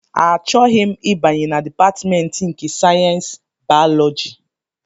Achọghị m ịbanye na Dipatmentị nke sayensị bayọlọji!